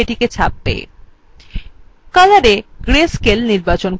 colorএ gray scale নির্বাচন করুন